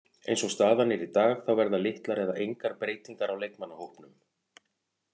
Eins og staðan er í dag þá verða litlar eða engar breytingar á leikmannahópnum.